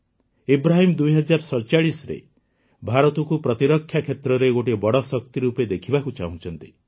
ଇବ୍ରାହିମ୍ ୨୦୪୭ରେ ଭାରତକୁ ପ୍ରତିରକ୍ଷା କ୍ଷେତ୍ରରେ ଗୋଟିଏ ବଡ଼ ଶକ୍ତି ରୂପେ ଦେଖିବାକୁ ଚାହୁଁଛନ୍ତି